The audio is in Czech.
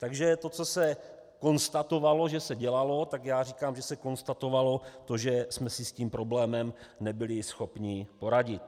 Takže to, co se konstatovalo, že se dělalo, tak já říkám, že se konstatovalo to, že jsme si s tím problémem nebyli schopni poradit.